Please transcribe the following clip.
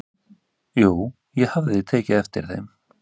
"""Jú, ég hafði tekið eftir þeim."""